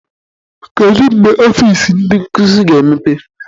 Kedu mgbe ọfịs ndị nkuzi ga-emepe?